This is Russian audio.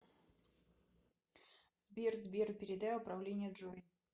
сбер сбер передай управление джой